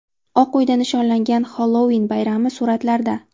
Oq uyda nishonlangan Xellouin bayrami suratlarda.